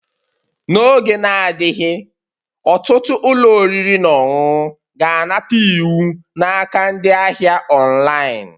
N'oge na-adịghị, ọtụtụ ụlọ oriri na ọṅụṅụ ga-anata iwu n'aka ndị ahịa online